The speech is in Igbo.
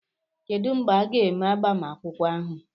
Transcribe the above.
Kedu mgbe a ga-eme agbamakwụkwọ ahụ?